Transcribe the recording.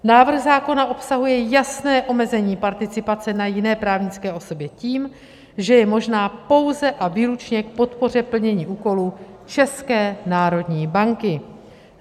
Návrh zákona obsahuje jasné omezení participace na jiné právnické osobě tím, že je možná pouze a výlučně k podpoře plnění úkolů České národní banky.